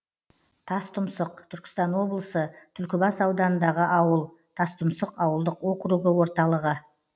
тастұмсық түркістан облысы түлкібас ауданындағы ауыл тастұмсық ауылдық округі орталығы